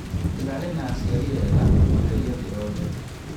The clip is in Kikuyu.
Ndĩrarĩ na aciari ega makĩria thĩ yothe